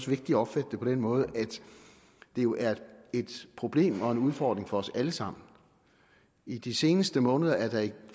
vigtigt at opfatte det på den måde at det jo er et problem og en udfordring for os alle sammen i de seneste måneder er der jo